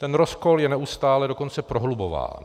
Ten rozkol je neustále dokonce prohlubován.